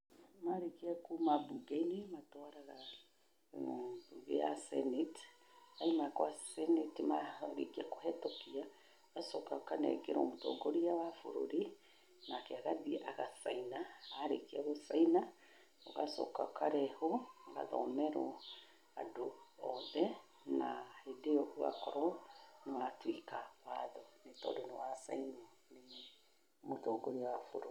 Marĩkia kuma mbunge-inĩ, matwaraga mbunge ya senate, yauma gwa senate marĩkia kũhĩtũkia, ĩgacoka ĩkanengerwo mũtongoria wa bũrũri, nake agathiĩ agacaina, arĩkia gũcaina ũgacoka ũkarehwo ĩgathomerwo andũ othe na hĩndĩ ĩyo ũgakorwo nĩ watuĩka watho nĩ tondũ nĩ wacainwo nĩ mũtongoria wa bũrũri.